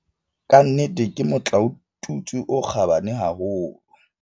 "Ka nnete ke motlaotutswe o kgabane haholo."